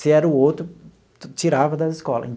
Se era o outro, tirava da escola.